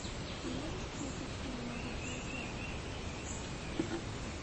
ты можешь включить фильм могучие утята